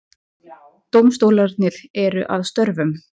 Dómstólarnir eru að störfum